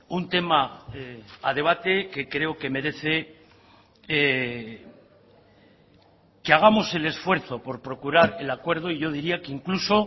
un tema a debate que creo que merece que hagamos el esfuerzo por procurar el acuerdo y yo diría que incluso